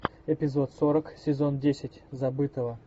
эпизод сорок сезон десять забытого